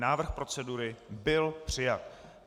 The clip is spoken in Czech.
Návrh procedury byl přijat.